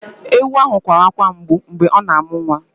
Èwu ahụ kwara akwa mgbụ mgbe ọ na-amụ nwa